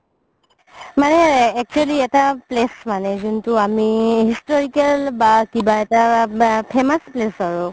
মানে actually এটা place মানে যোনটো আমি historical বা কিবা এটা famous place আৰু